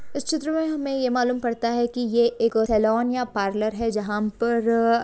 इस चित्र में हमें ये मालूम पड़ता है की ये एक सैलून या पार्लर है जहा पर--